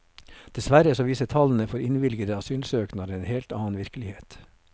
Dessverre så viser tallene for innvilgede asylsøknader en helt annet virkelighet.